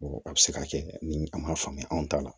A bɛ se ka kɛ ni a m'a faamuya anw ta la